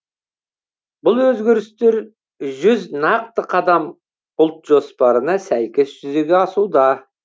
бұл өзгерістер жүз нақты қадам ұлт жоспарына сәйкес жүзеге асуда